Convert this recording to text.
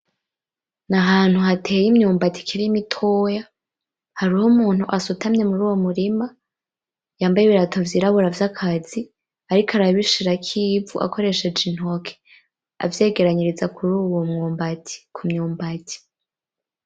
Ni ahantu hateye imyumbati ikiri mitoya, hariho umuntu asutamye muruwo murima yambaye ibirato vyirabura vy’akazi ariko arabishirako ivu akoresheje intoke avyegeraniriza kuruwo mwumbati, ku myumbati.